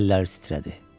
Əlləri titrədi.